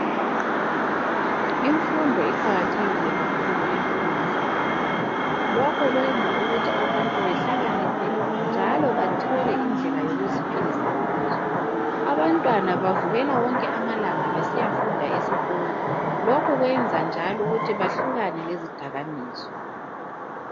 Imfundo iqakathekile kakhulu empilweni zabantu, lokhu kwenza ukuthi abantu behlakaniphe njalo bathole indlela zokuziphilisa ngazo. Abantwana bavukela besiyafunda amalanga wonke, lokhu kubenza bahlukane lezidakamizwa.